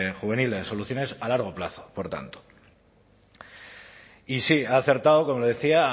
juveniles soluciones a largo plazo por tanto y sí ha acertado como le decía